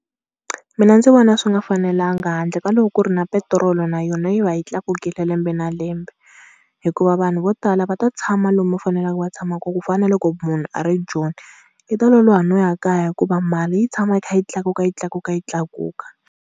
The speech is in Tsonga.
Mina ndzi vona swi nga fanelanga handle ka loko ku ri na petirolo na yona yi va yi tlakukile lembe na lembe. Hikuva vanhu vo tala va ta tshama lomu va faneleke va tshama kona ku fana na loko munhu a ri Joni u ta loloha no ya kaya hikuva mali yi tshama yi kha yi tlakuka yi tlakuka yi tlakuka.